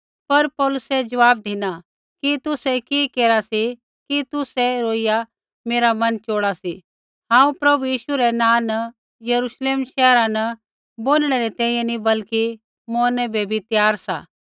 पर पौलुसै ज़वाब धिना कि तुसै कि केरा सी कि तुसै रोइया मेरा मन चोड़ा सी हांऊँ प्रभु यीशु रै नाँ न यरूश्लेम शैहरा न बोनिणै री तैंईंयैं नी बल्कि मौरनै बै बी त्यार सा